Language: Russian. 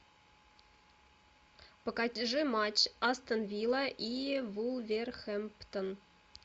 покажи матч астон вилла и вулверхэмптон